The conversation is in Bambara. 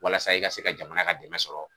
Walasa i ka se ka jamana ka se ka dɛmɛ sɔrɔ